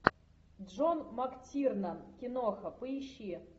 джон мактирнан киноха поищи